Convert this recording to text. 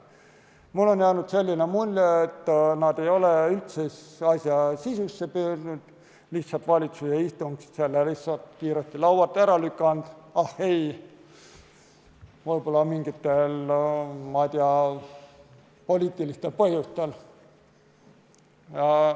Mulle on jäänud mulje, et nad ei ole üldse asja sisusse süüvinud, lihtsalt valitsuse istungil sai see kiiresti laualt ära lükatud, võib-olla mingitel, ma ei tea, poliitilistel põhjustel.